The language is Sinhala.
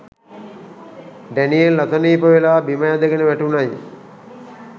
ඩැනියෙල් අසනිප වෙලා බිම ඇදගෙන වැටුනැයි